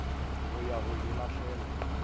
go ya go e lahlela